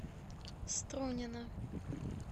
струнино